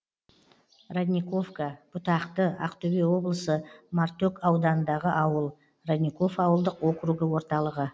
родниковка бұтақты ақтөбе облысы мартөк ауданындағы ауыл родников ауылдық округі орталығы